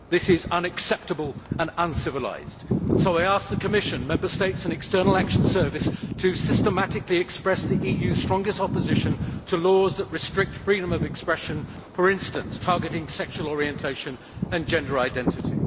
This is unacceptable and uncivilised. So I ask the Commission, Member States and the External Action Service to systematically express the EU's strongest opposition to laws that restrict freedom of expression, which, for instance, target sexual orientation and gender identity.